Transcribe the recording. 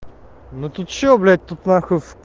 ну ты что блять тут на хуй